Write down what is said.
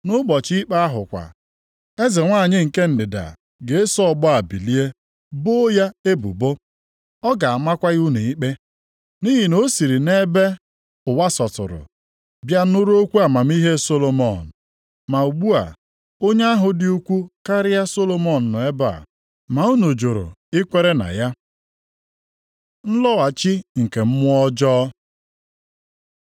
Nʼụbọchị ikpe ahụ kwa, eze nwanyị nke Ndịda + 12:42 Maọbụ, Sheba ga-eso ọgbọ a bilie boo ya ebubo. Ọ ga-amakwa unu ikpe. Nʼihi na o siri nʼebe dị ụwa sọtụrụ bịa nụrụ okwu amamihe Solomọn. Ma ugbu a onye ahụ dị ukwuu karịa Solomọn nọ nʼebe a, ma unu jụrụ i kwere na ya. Nlọghachi nke mmụọ ọjọọ